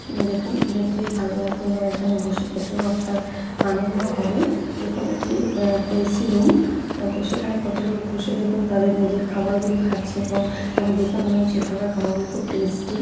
দেখুন দেখলেই ভাল লাগবে এবং এখানে বসে খেতেও আপনার আনন্দ হবে। দেখুন এটি এ এ.সি. রুম । তো সেখানে কত লোক বসে দেখুন তাদের নিজের খাবারগুলি খাচ্ছে এবং তাদের দেখে মনে হচ্ছে এখানে খাবার গুলি খুব টেস্টি ।